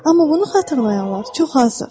Amma bunu xatırlayanlar çox azdır.